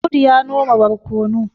Audu ya noma barkono